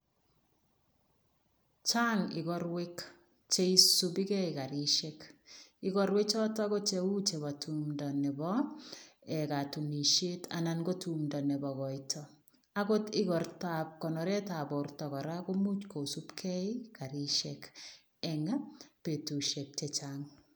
Chang igorwek che isupigei karisiek. Igorwe choto ko cheu chebo tumndo nebo ee katunisiet anan ko tumndo nobo koito. Agot igortoab konoretab borto kora komuch kosupgei karisiek eng betusiek che chang.